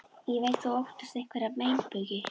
Ég veit að þú óttast einhverja meinbugi.